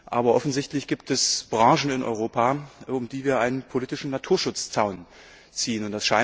Aber offensichtlich gibt es Branchen in Europa, um die wir einen politischen Naturschutzzaun ziehen.